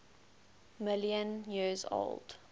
million years old